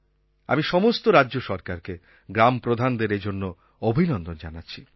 আমি সমস্ত রাজ্য সরকারকে গ্রাম প্রধানদের এজন্য অভিনন্দন জানাচ্ছি